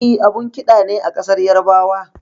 E, abun ƙida ne a ƙasar Yarabawa.